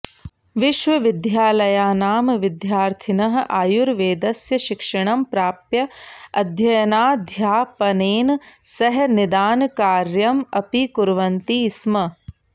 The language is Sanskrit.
विश्वविद्यालयानां विद्यार्थिनः आयुर्वेदस्य शिक्षणं प्राप्य अध्ययनाध्यापनेन सह निदानकार्यम् अपि कुर्वन्ति स्म